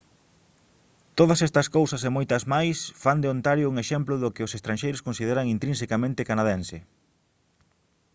todas estas cousas e moitas máis fan de ontario un exemplo do que os estranxeiros consideran intrinsecamente canadense